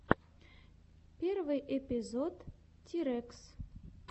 первый эпизод тирэкс